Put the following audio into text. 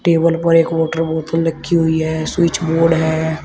Table पर एक water बोतल रखी हुई है स्विच बोर्ड है।